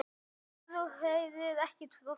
Bráðin lak af þeim.